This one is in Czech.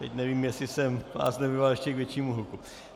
Teď nevím, jestli jsem vás nenavedl ještě k většímu hluku.